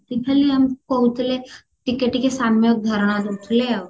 ସେ ଖାଲି ଆମକୁ କହୁଥିଲେ ଟିକେ ଟିକେ ସାମ୍ଯକ ଧାରଣା ଦଉଥିଲେ ଆଉ